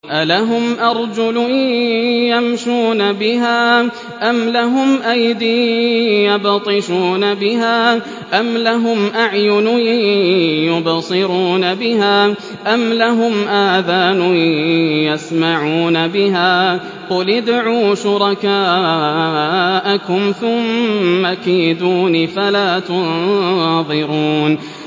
أَلَهُمْ أَرْجُلٌ يَمْشُونَ بِهَا ۖ أَمْ لَهُمْ أَيْدٍ يَبْطِشُونَ بِهَا ۖ أَمْ لَهُمْ أَعْيُنٌ يُبْصِرُونَ بِهَا ۖ أَمْ لَهُمْ آذَانٌ يَسْمَعُونَ بِهَا ۗ قُلِ ادْعُوا شُرَكَاءَكُمْ ثُمَّ كِيدُونِ فَلَا تُنظِرُونِ